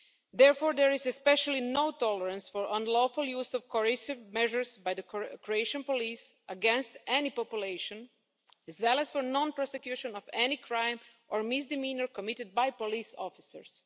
Therefore, there is especially no tolerance for unlawful use of coercive measures by the Croatian police against any population, as well as for non prosecution of any crime or misdemeanour committed by police officers.